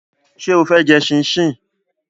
Ṣé o fẹ́ jẹ ṣíńṣiǹ?